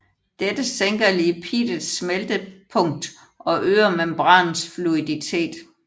Dette sænker lipidets smeltepunkt og øger membranens fluiditet